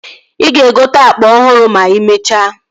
Ị ga-egote akpa ọhụrụ ma emechaa